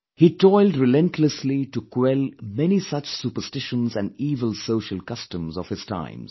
He toiled relentlessly to quell many such superstitions and evil social customs of his times